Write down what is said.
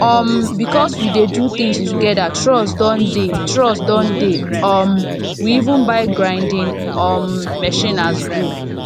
um because we dey do things together trust don dey trust don dey um we even buy grinding um machine as group